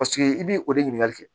Paseke i b'i o de ɲininkali kɛ